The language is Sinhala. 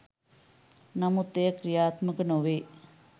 නමුත් එය ක්‍රියාත්මක නොවේ.